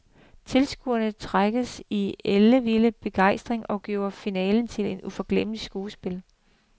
Tilskuerne trængtes i ellevild begejstring og gjorde finalen til et uforglemmeligt skuespil.